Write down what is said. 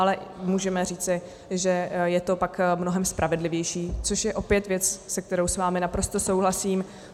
Ale můžeme říci, že je to pak mnohem spravedlivější, což je opět věc, ve které s vámi naprosto souhlasím.